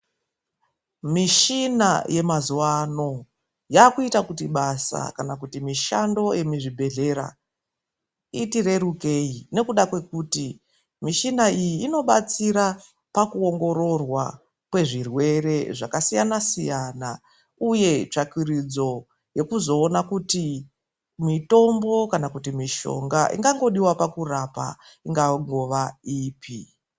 Mishina yemazuva ano yakuita basa kana kuti mishando remuzvibhedhlera iti rerukire ngenda yekuti michina iyi inoshandiswa pakuongorora kwezvirwere zvakasiyana siyana uye tsvagurudzo yekuzoona kuti mitombo kana kuti mishonga ingadiwa kurapa ingangova ipi .